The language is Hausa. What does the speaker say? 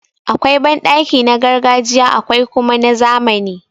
Akwai banɗaki na gargajiya akwai kuma na zamani.